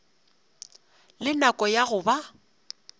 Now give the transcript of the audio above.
le nako ya go ba